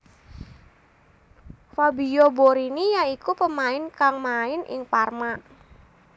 Fabio Borini ya iku pemain kang main ing Parma